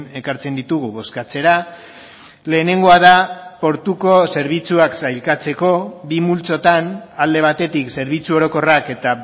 ekartzen ditugu bozkatzera lehenengoa da portuko zerbitzuak sailkatzeko bi multzotan alde batetik zerbitzu orokorrak eta